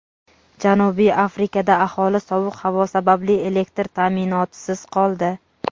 Janubiy Afrikada aholi sovuq havo sababli elektr taʼminotisiz qoldi.